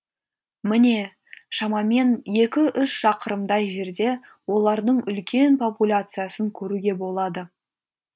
міне шамамен екі үш шақырымдай жерде олардың үлкен популяциясын көруге болады